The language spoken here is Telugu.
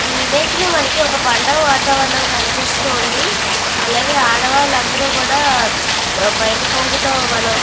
ఈ ఇమేజ్ లో మనకి పండగ వాతావరణం కనిపిస్తూ వుంది. ఆడవాళ్లు అందరు కూడా బయాట కొంగు తో --